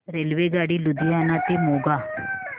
रेल्वेगाडी लुधियाना ते मोगा